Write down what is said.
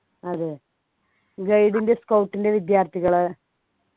അതെ guide ൻ്റെ scout ൻ്റെ വിദ്യാർത്ഥികൾ